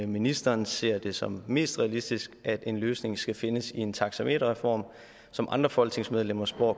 ministeren ser det som mest realistisk at en løsning skal findes i en taxameterreform som andre folketingsmedlemmer spår